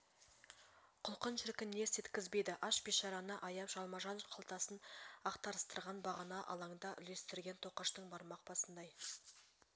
құлқын шіркін не істеткізбейді аш бишараны аяп жалма-жан қалтасын ақтарыстырған бағана алаңда үлестңрген тоқаштың бармақ басындай